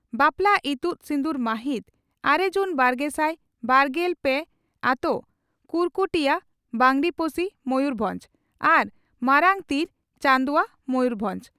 ᱵᱟᱯᱞᱟ ᱤᱛᱩᱫ ᱥᱤᱸᱫᱩᱨ ᱢᱟᱹᱦᱤᱛ ᱺᱟᱨᱮ ᱡᱩᱱ ᱵᱟᱨᱜᱮᱥᱟᱭ ᱵᱟᱨᱜᱮᱞ ᱯᱮ ᱟᱹᱛᱳ ᱺ ᱠᱩᱨᱠᱩᱴᱤᱭᱟᱹ, ᱵᱟᱸᱜᱽᱨᱤᱯᱚᱥᱤ, ᱢᱚᱭᱩᱨᱵᱷᱚᱸᱡᱽ ᱟᱨ ᱢᱟᱨᱟᱝ ᱛᱤᱲᱚ, ᱪᱟᱹᱱᱫᱩᱣᱟᱹ, ᱢᱚᱭᱩᱨᱵᱷᱚᱸᱡᱽ ᱾